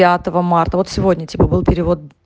пятого марта вот сегодня типа был перевод